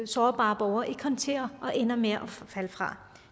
sårbare borgere ikke håndtere og de ender med at falde fra